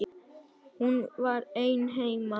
Hún var ein heima.